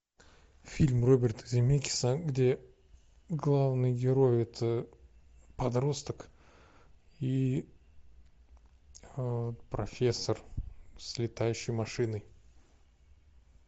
фильм роберта земекиса где главный герой это подросток и профессор с летающей машиной